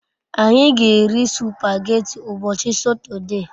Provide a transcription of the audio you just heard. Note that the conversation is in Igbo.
Anyi g'eri supageti ubochi sotode